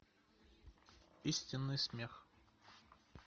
истинный смех